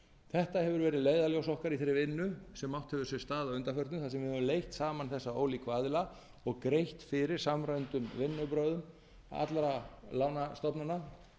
þetta hefur verið leiðarljós okkar í þeirri vinnu sem átt hefur sér stað að undanförnu þar sem við höfum leitt saman þessa ólíku aðila og greitt fyrir samræmdum vinnubrögðum allra lánastofnana